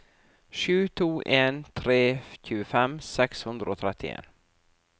sju to en tre tjuefem seks hundre og trettien